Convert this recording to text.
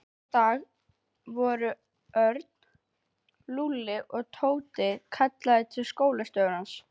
Næsta dag voru Örn, Lúlli og Tóti kallaðir til skólastjóra.